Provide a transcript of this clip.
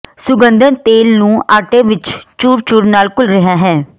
ਸੁਗੰਧਤ ਤੇਲ ਨੂੰ ਆਟਾ ਵਿਚ ਚੂਰ ਚੂਰ ਨਾਲ ਘੁਲ ਰਿਹਾ ਹੈ